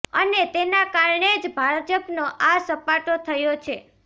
અને તેના કારણે જ ભાજપનો આ સપાટો થયો છે